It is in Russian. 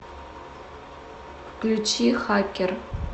включи хакер